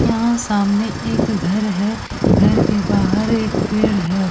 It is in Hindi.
यहाँ सामने एक घर है। घर के बाहर एक पेड़ है।